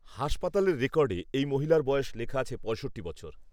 হাসপাতালের রেকর্ডে এই মহিলার বয়স লেখা আছে পঁয়ষট্টি বছর